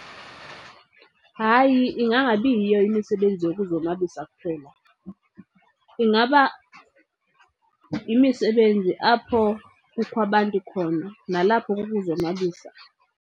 Hayi, ingangabi yiyo imisebenzi yokuzonwabisa kuphela. Ingaba yimisebenzi apho kukho abantu khona, nalapho kukuzonwabisa.